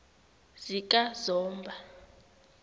zikazomba